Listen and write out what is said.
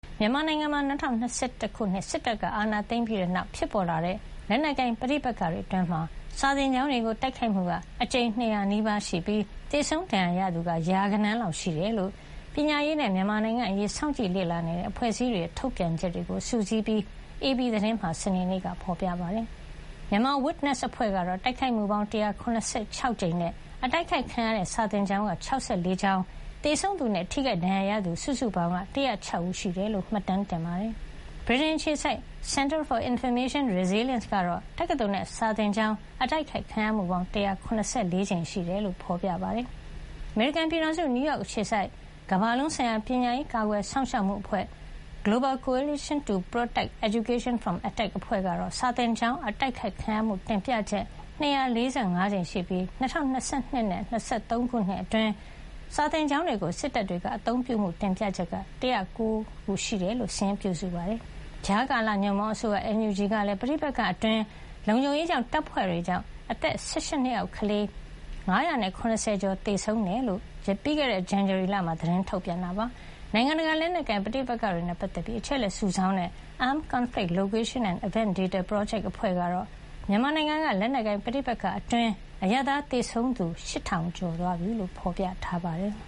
မြန်မာနိုင်ငံမှာ ၂၀၂၁ ခုနှစ် စစ်တပ်ကအာဏာသိမ်းပြီးနောက် ဖြစ်ပေါ်လာတဲ့ လက်နက်ကိုင် ပဋိပက္ခအတွင်း စာသင် ကျောင်းတွေ တိုက်ခိုက်ခံရမှု အကြိမ် ၂၀၀ နီးပါးရှိပြီး၊ သေဆုံးဒဏ်ရာရသူ ရာဂဏန်းရှိတယ်လို့ ပညာရေးနဲ့ မြန်မာနိုင်ငံအရေး စောင့်ကြည့်လေ့လာနေတဲ့ အဖွဲ့အစည်းတွေက ထုတ်ပြန်ထားတာကို AP သတင်းဌာနက စုစည်းပြီး စနေနေ့မှာ ဖေါ်ပြပါတယ်။ Myanmar Witness အဖွဲ့က စာသင်ကျောင်း တိုက်ခိုက်ခံရမှုပေါင်း ၁၇၆ ကြိမ်ရှိခဲ့တယ်လို့ ဖေါ်ပြထားပြီး၊ ၆၄ ကျောင်း တိုက်ခိုက်ခံရမှုနဲ့ သေဆုံးထိခိုက် ဒဏ်ရာရသူ စုစုပေါင်း ၁၀၆ ဦး ရှိတာကို မှတ်တမ်း ပြုစုထားနိုင်တယ်လို့ဖေါ်ပြထားပါတယ်။ ဗြိတိန်အခြေစိုက် Center for Information Resilience ကတော့ တက္ကသိုလ်နဲ့ စာသင်ကျောင်း တိုက်ခိုက်ခံရမှုပေါင်း ၁၇၄ ကြိမ်ရှိတယ်လို့ဖေါ်ပြထားပါတယ်။ အမေရိကန်ပြည်ထောင်စု နယူးယောက် အခြေစိုက် ကမ္ဘာလုံးဆိုင်ရာ ပညာရေး ကာကွယ်စောင့်ရှောက်မှုအဖွဲ့ Global Coalition to Protect Education from Attack အဖွဲ့ကတော့ စာသင်ကျောင်း တိုက်ခိုက်ခံရမှု တင်ပြချက် ၂၄၅ ကြိမ်ရှိခဲ့ပြီး၊ ၂၀၂၂ ခုနှစ်နဲ့ ၂၀၂၃ ခုနှစ်အတွင်း စာသင်ကျောင်းတွေကို စစ်တပ်တွေက အသုံးပြုမှု တင်ပြချက် ၁၉၀ ကို စာရင်းပြုစုထားပါတယ်။ ကြားကာလညွန့်ပေါင်းအစိုးရ NUG ကလည်း ပဋိပက္ခအတွင်း လုံခြုံရေးတပ်ဖွဲ့တွေကြောင့် အသက် ၁၈ နှစ်အောက်ကလေး ၅၇၀ ကျော် သေဆုံးခဲ့တယ်လို့ ပြီးခဲ့တဲ့ ဇန္နဝါရီလထဲတုန်းက ထုတ်ပြန်ခဲ့ပါတယ်။ နိုင်ငံတကာ လက်နက်ကိုင် ပဋိပက္ခတွေနဲ့ ပတ်သက်ပြီး အချက်အလက် စုဆောင်းတဲ့ Armed Conflict Location and Event Data Project အဖွဲ့ကတော့ မြန်မာနိုင်ငံက လက်နက်ကိုင် ပဋိပက္ခအတွင်း အရပ်သားသေဆုံးသူ ၈ ထောင်ကျော်ရှိသွားပြီလို့ ဖေါ်ပြထားပါတယ်။